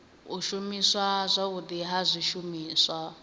u shumiswa zwavhudi ha zwishumiswa